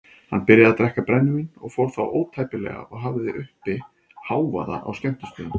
Hann byrjaði að drekka brennivín og fór þá ótæpilega og hafði uppi hávaða á skemmtistöðum.